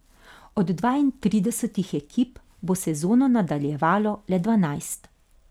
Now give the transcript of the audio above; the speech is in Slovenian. Od dvaintridesetih ekip bo sezono nadaljevalo le dvanajst.